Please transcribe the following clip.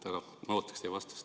Aga ma ootaksin teie vastust.